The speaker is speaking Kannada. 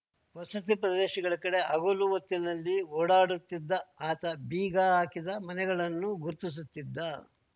ವಸತಿ ಪ್ರದೇಶಗಳ ಕಡೆ ಹಗಲು ಹೊತ್ತಿನಲ್ಲಿ ಓಡಾಡುತ್ತಿದ್ದ ಆತ ಬೀಗ ಹಾಕಿದ ಮನೆಗಳನ್ನು ಗುರುತಿಸುತ್ತಿದ್ದ